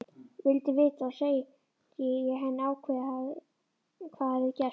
Vildi vita, segi ég henni ákveðið, hvað hafði gerst.